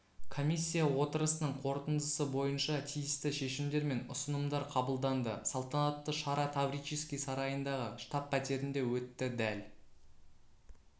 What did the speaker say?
комиссия отырысының қорытындысы бойынша тиісті шешімдер мен ұсынымдар қабылданды салтанатты шара таврический сарайындағы штаб-пәтерінде өтті дәл